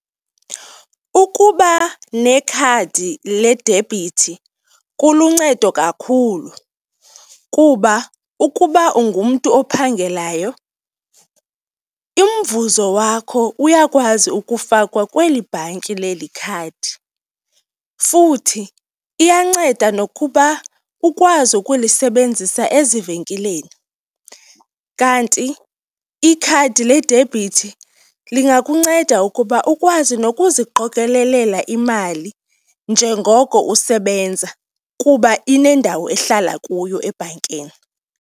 Ukuba nekhadi ledebhithi kuluncedo kakhulu kuba ukuba ungumntu ophangelayo, umvuzo wakho uyakwazi ukufakwa kweli bhanki leli khadi futhi iyanceda nokuba ukwazi ukulisebenzisa ezivenkileni. Kanti ikhadi ledebhithi lingakunceda ukuba ukwazi nokuziqokelela imali njengoko usebenza kuba inendawo ehlala kuyo ebhankini.